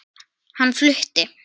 Hann flutti